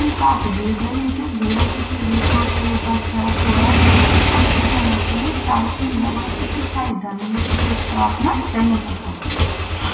इखम काफी भीड लगी च भीड़म स्त्री प्रुश बच्चा बूढ़ा सब दिखेंणा छिन सायद इन लगणू च कि ईसाई धर्म लुखु क कुछ प्रार्थना चनी च इखम।